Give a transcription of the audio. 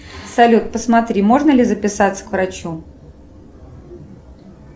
салют посмотри можно ли записаться к врачу